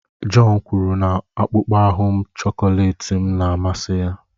John kwuru na akpụkpọ ahu chọkọletị m na-amasị ya